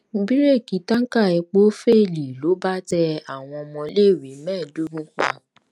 bíréèkì táǹkà epo féèlì ló bá tẹ tẹ àwọn ọmọléèwé mẹẹẹdógún pa